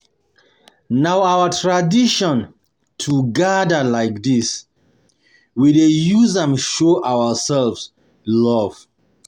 Na our tradition to gather like gather like dis, we dey use am show ourselves love.